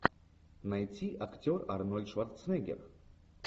найти актер арнольд шварценеггер